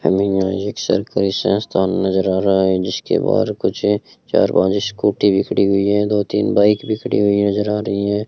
हमें यहां एक सरकारी स्वास्थ्य नजर आ रहा है जिसके बाद कुछ चार पांच स्कूटी भी खड़ी हुई है दो तीन बाइक भी खड़ी हुई नजर आ रही है।